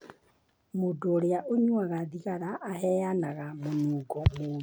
Mũndũ ũrĩa ũnyuaga thigara aheanaga mũnungo mũũru.